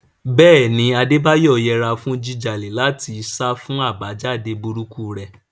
Bẹ́ẹ̀ ni, Adebayo yẹra fún jíjà láti sá fún àbájáde burúkú rẹ̀.